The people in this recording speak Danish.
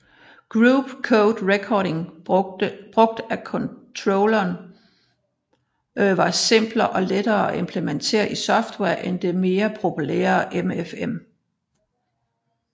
Group Code Recording brugt af controlleren var simpler og lettere at implementere i software end det mere populære MFM